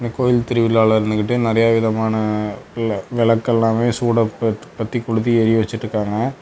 கோயில் திருவிழால நின்னுகிட்டு நெறைய விதமான வெலக்கெல்லாமே சூடம் பத்தி கொளுத்தி எரிய வச்சுட்டிருக்காங்க.